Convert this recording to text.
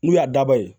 N'u y'a daba ye